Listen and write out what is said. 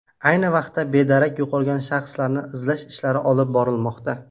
Ayni vaqtda bedarak yo‘qolgan shaxslarni izlash ishlari olib borilmoqda.